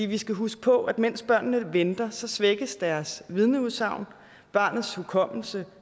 vi skal huske på at mens børnene venter svækkes deres vidneudsagn barnets hukommelse